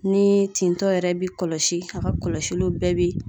Ni tintɔ yɛrɛ bi kɔlɔsi ,a ka kɔlɔsiliw bɛɛ bi